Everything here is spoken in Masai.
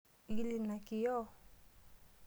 Igil ina kioo.